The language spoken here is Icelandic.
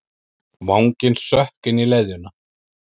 Vanginn sökk inn í leðjuna.